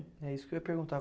É isso que eu ia perguntar.